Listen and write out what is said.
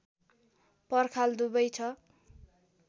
पर्खाल दुवै छ